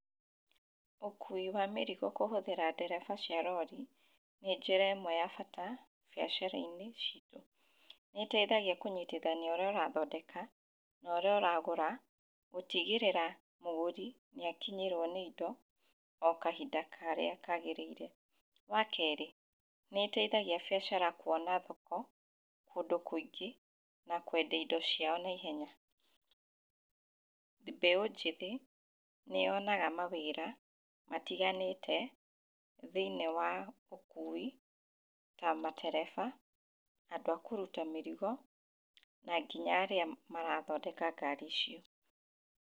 Ũkui wa mĩrigo kũhũthĩra ndereba cia rori, nĩ njĩremwe ya bata biacara-inĩ citũ. Nĩ iteithagia kũnyitithania ũrĩa ũrathondeka norĩa ũragũra, gũtigĩrĩra mũgũri nĩ akinyĩrwo nĩ indo o kahinda karĩa kagĩrĩire. Wa kerĩ, nĩ ĩteithagia bĩacara kwona thoko kũndũ kũingĩ na kwendia indo ciao naihenya. Mbeũ njĩthĩ nĩ yonaga mawĩra matiganĩte thĩiniĩ wa ũkui ta matereba, andũ a kũruta mĩrigo, na nginya arĩa marathondeka ngari icio.